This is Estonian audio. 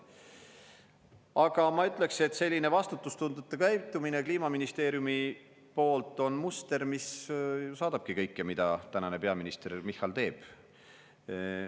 Aga ma ütleksin, et selline vastutustundetu käitumine Kliimaministeeriumi poolt on muster, mis saadabki kõike, mida tänane peaminister Michal teeb.